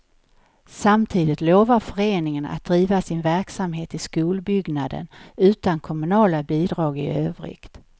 Samtidigt lovar föreningen att driva sin verksamhet i skolbyggnaden utan kommunala bidrag i övrigt.